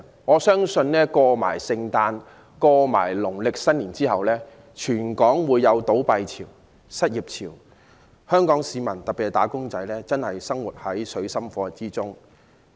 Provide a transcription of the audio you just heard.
我相信聖誕節和農曆新年過後，全港會出現倒閉潮和失業潮，香港市民，特別是"打工仔"，將會生活在水深火熱之中。